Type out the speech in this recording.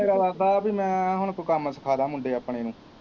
ਮੇਰਾ ਇਰਾਦਾ ਹੈ ਪੀ ਮੈਂ ਹੁਣ ਕੋਈ ਕੰਮ ਸਿਖਾ ਦਾ ਮੁੰਡੇ ਆਪਣੇ ਨੂੰ।